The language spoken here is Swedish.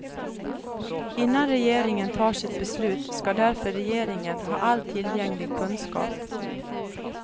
Innan regeringen tar sitt beslut ska därför regeringen ha all tillgänglig kunskap.